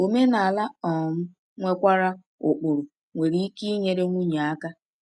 Omenala um nwekwara ụkpụrụ nwere ike inyere nwunye aka.